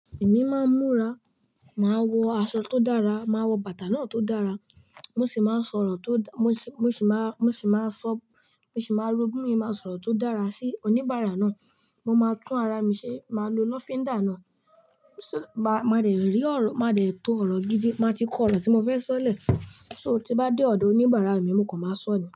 Èmi máa ń múra, màá wọ aṣọ tó dára, màá wọ bàtà náà tó dára, mo sì máa ń sọ̀rọ̀ tó dá-- mo sì, mo sì máa, mo sì máa sọ, mo sì máa ru gbin, màá sọ̀rọ̀ tó dára sí oníbàárà náà. Mo máa tún ara mi ṣe, màá lo lọ́fíndà náà. So ma, máa dẹ̀ rí ọ̀rọ̀, máa dẹ̀ tó ọ̀rọ̀ gidi, màá ti kọ ọ̀rọ̀ tí mo fẹ́ sọ̀lẹ̀. So tí bá dé ọ̀dọ̀ oníbàárà mi, mo kàn máa sọ ni.